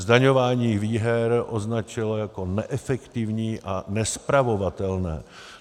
Zdaňování výher označilo jako neefektivní a nespravovatelné.